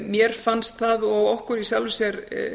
mér fannst það og okkur í sjálfu sér